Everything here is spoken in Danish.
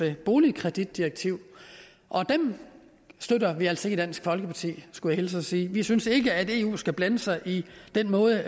boligkreditdirektiv og dem støtter vi altså ikke i dansk folkeparti skulle jeg hilse og sige vi synes ikke at eu skal blande sig i den måde